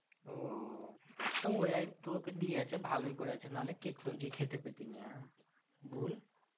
তো ওইয়াই তোকে দিয়েছে ভালোই করেছে। নাহলে কেক ফেক তুই খেতে পেটিস না, বল?